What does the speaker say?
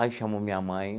Aí chamou minha mãe.